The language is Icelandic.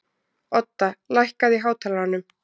Odda, lækkaðu í hátalaranum.